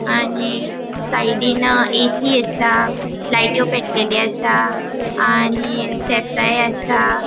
आणि साइडीन ऐ.सी. असा लायट्यो पेटलेलो असा आणि स्टेप्साय आसा.